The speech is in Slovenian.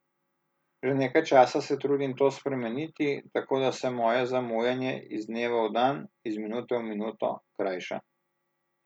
Že nekaj časa se trudim to spremeniti, tako da se moje zamujanje iz dneva v dan, iz minute v minuto, krajša.